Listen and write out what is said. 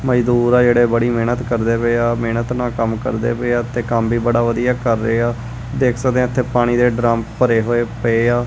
ਮਜਦੂਰ ਆ ਜਿਹੜੇ ਬੜੀ ਮਿਹਨਤ ਕਰਦੇ ਪਏ ਆ ਮਿਹਨਤ ਨਾਲ ਕੰਮ ਕਰਦੇ ਪਏ ਆ ਤੇ ਕੰਮ ਵੀ ਬੜਾ ਵਧੀਆ ਕਰ ਰਹੇ ਆ ਦੇਖ ਸਕਦੇ ਆ ਇਥੇ ਪਾਣੀ ਦੇ ਡਰਮ ਭਰੇ ਹੋਏ ਪਏ ਆ।